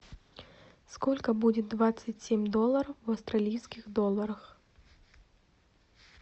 сколько будет двадцать семь долларов в австралийских долларах